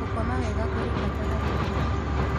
Gũkoma wega kũrĩ bata harĩ wa hakĩrĩ